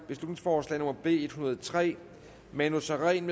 beslutningsforslag nummer b en hundrede og tre manu sareen